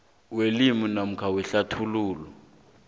wewili namkha ngehlathululo